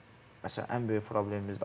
Bizim məsələn, ən böyük problemimizdir.